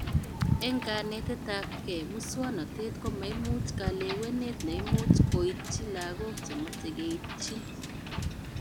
Eng kanetetabke, muswonotet komaimuch kalewenet neimuch koitch laguk chemache keitchin